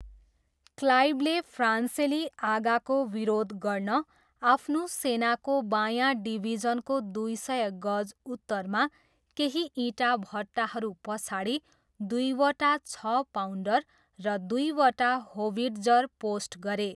क्लाइभले फ्रान्सेली आगाको विरोध गर्न आफ्नो सेनाको बायाँ डिभिजनको दुई सय गज उत्तरमा केही इँटाभट्टाहरू पछाडि दुईवटा छ पाउन्डर र दुईवटा होविट्जर पोस्ट गरे।